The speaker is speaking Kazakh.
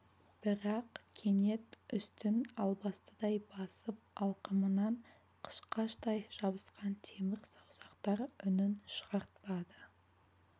бірақ кенет үстін албастыдай басып алқымынан қышқаштай жабысқан темір саусақтар үнін шығартпады